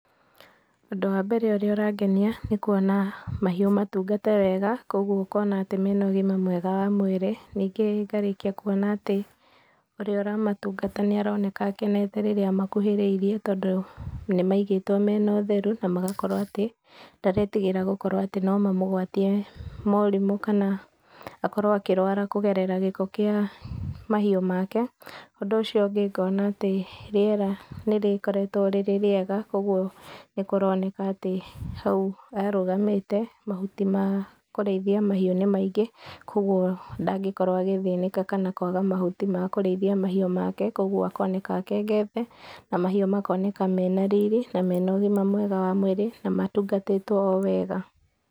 Ũndũ wa mbere ũrĩa ũrangenia nĩ kũona mahiũ matungate wega, koguo ũkona atĩ mena ũgima mwega wa mwĩrĩ, ningĩ ngarĩkia kũona atĩ ũrĩa ũramatungata nĩ aroneka akenete rĩrĩa amakuhĩrĩirie, tondũ nĩmaigĩtwo mena ũtheru na magakorwo atĩ ndaretigĩra gũkorwo atĩ no mamũgwatie morimũ kana akorwo akĩrwara kũgerera gĩko kĩa mahiũ make. Ũndũ ũcio ũngĩ ngona atĩ rĩera nĩrĩkoretwo rĩrĩ rĩega, kwa ũguo nĩkũroneka atĩ hau arũgamĩte mahuti ma kũriithia mahiũ nĩ maingĩ, kwa ũguo ndangĩkorwo agĩthĩnĩka kana kũaga mahuti ma kũrĩithia mahiũ make, kwa ũguo akoneta akengete na mahiũ makoneka mena riri na mena ũgima mwega wa mwĩrĩ na matungatĩtwo o wega.